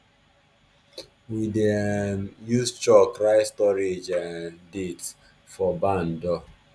we dey um use chalk write storage um date for barn door